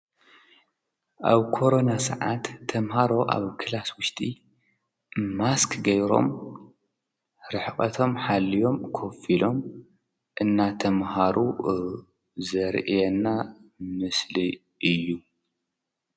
ኣብ ኮረና ሰዓት ተምሃሮ ኣብ ክላስ ውሽጢ ማስክ ገይሮም ርሕቐቶም ሓልዮም ኮፍ ኢሎም እናተምሃሩ ዘርእየና ምስሊ እዩ።